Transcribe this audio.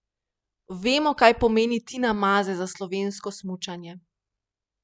Vemo, kaj pomeni Tina Maze za slovensko smučanje.